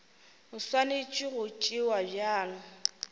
e swanetše go tšewa bjalo